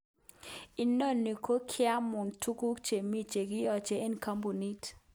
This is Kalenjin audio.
Inoni ko kiamun tuguk chemi chekiyoche eng kampunit.